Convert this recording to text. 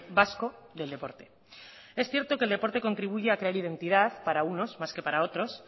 vasco del deporte es cierto que el deporte contribuye a crear identidad para unos más que para otros